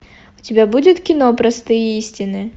у тебя будет кино простые истины